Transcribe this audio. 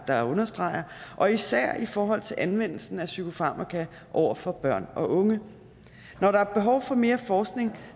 der understreger og især i forhold til anvendelsen af psykofarmaka over for børn og unge når der er behov for mere forskning